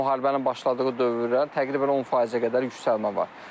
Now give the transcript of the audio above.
müharibənin başladığı dövrdən təqribən 10%-ə qədər yüksəlmə var.